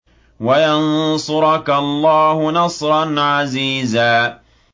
وَيَنصُرَكَ اللَّهُ نَصْرًا عَزِيزًا